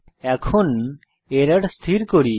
এখন এরর স্থির করি